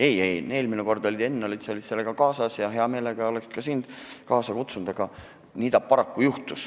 Ei-ei, eelmine kord tulid sa, Henn, selle asjaga kaasa ja hea meelega oleks sind ka nüüd kaasa kutsunud, aga nii see paraku juhtus.